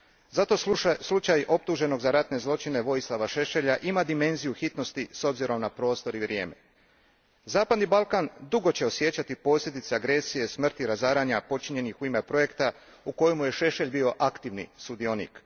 Zato slučaj optuženog za ratne zločine, Vojislava Šešelja, ima dimenziju hitnosti s obzirom na prostor i vrijeme. Zapadni će Balkan dugo osjećati posljedice agresije, smrti, razaranja počinjenih u ime projekta u kojemu je Šešelj bio aktivni sudionik.